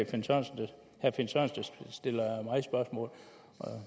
finn sørensen der stiller mig spørgsmål og